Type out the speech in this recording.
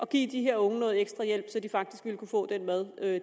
give de her unge noget ekstra hjælp så de faktisk ville kunne få den mad